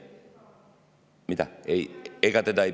Mida?